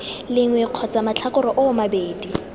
lengwe kgotsa matlhakore oo mabedi